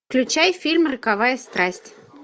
включай фильм роковая страсть